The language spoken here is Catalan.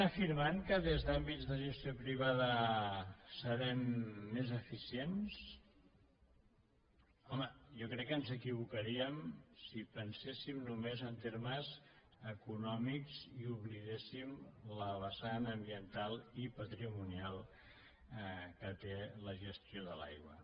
afirmen que des d’àmbits de gestió privada serem més eficients home jo crec que ens equivocaríem si penséssim només en termes econòmics i oblidéssim la vessant ambiental i patrimonial que té la gestió de l’aigua